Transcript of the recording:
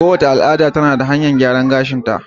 Kowace al'ada tana da hanyar gyaran gashi ta